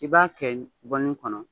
I b'a kɛ bɔlini kɔnɔ